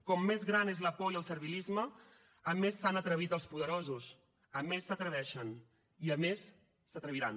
com més gran és la por i el servilisme a més s’han atrevit els poderosos a més s’atreveixen i a més s’atreviran